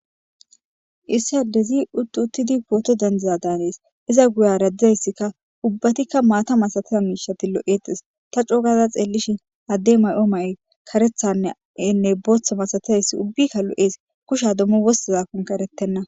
issi addezi uttu uttidi pooto dendiza daanees iza guya raddizayssikka ubbatikka maata masatiya miishati lo7eetes ta coogaza xeellishin adde may7o may karethanne enne booththa masatizayssi ubbikka lo7ees kushadommo wossazakon karettenna